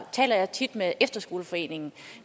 taler jeg tit med efterskoleforeningen